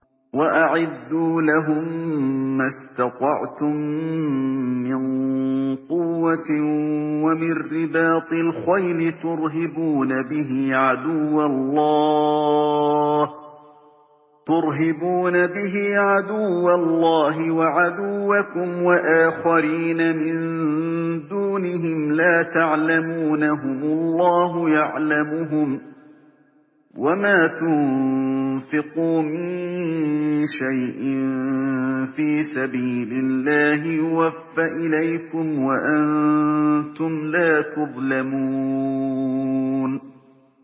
وَأَعِدُّوا لَهُم مَّا اسْتَطَعْتُم مِّن قُوَّةٍ وَمِن رِّبَاطِ الْخَيْلِ تُرْهِبُونَ بِهِ عَدُوَّ اللَّهِ وَعَدُوَّكُمْ وَآخَرِينَ مِن دُونِهِمْ لَا تَعْلَمُونَهُمُ اللَّهُ يَعْلَمُهُمْ ۚ وَمَا تُنفِقُوا مِن شَيْءٍ فِي سَبِيلِ اللَّهِ يُوَفَّ إِلَيْكُمْ وَأَنتُمْ لَا تُظْلَمُونَ